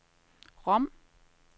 Rom